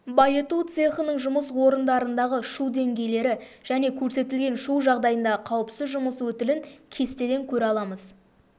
байыту цехының жұмыс орындарындағы шу деңгейлері және көрсетілген шу жағдайындағы қауіпсіз жұмыс өтілін кестеден көре аламыз